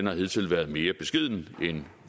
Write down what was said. har hidtil været mere beskeden end